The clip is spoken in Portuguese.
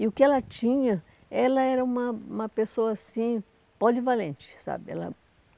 E o que ela tinha, ela era uma uma pessoa, assim, polivalente, sabe? Ela